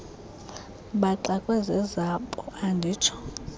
baxakwe zezabo anditsho